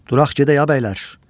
Duraq gedək, ay bəylər.